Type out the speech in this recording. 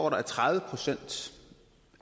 at tredive procent